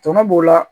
Tɔnɔ b'o la